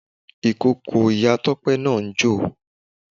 Ìkókó Iya Tope náà ń jò.